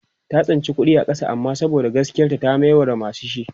ta tsinci kuɗi a ƙasa amma saboda gaskiyar ta ta mayar wa masu shi